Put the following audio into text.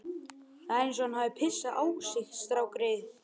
Það er eins og hann hafi pissað á sig strákgreyið.